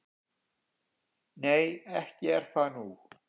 """Nei, ekki er það nú."""